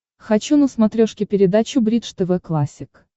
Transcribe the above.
хочу на смотрешке передачу бридж тв классик